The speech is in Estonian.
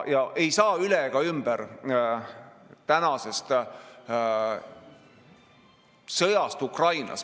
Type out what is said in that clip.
Ja ei saa üle ega ümber tänasest sõjast Ukrainas.